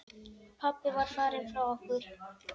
Pabbi var farinn frá okkur.